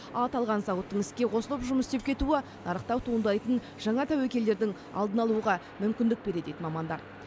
ал аталған зауыттың іске қосылып жұмыс істеп кетуі нарықта туындайтын жаңа тәуекелдерді алдын алуға мүмкіндік береді дейді мамандар